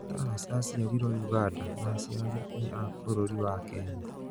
Tarus aciarirwo Ũganda na aciari nĩ a bũrũri wa Kenya.